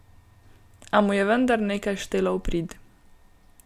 A mu je vendar nekaj štelo v prid.